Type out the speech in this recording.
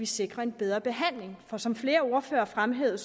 sikre en bedre behandling for som flere ordførere fremhævede